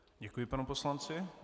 Děkuji panu poslanci.